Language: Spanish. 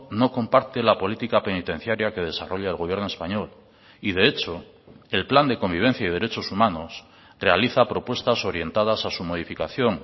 no comparte la política penitenciaria que desarrolla el gobierno español y de hecho el plan de convivencia y derechos humanos realiza propuestas orientadas a su modificación